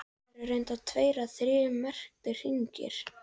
Það eru reyndar tveir eða þrír merktir hringir.